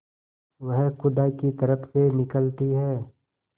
वह खुदा की तरफ से निकलती है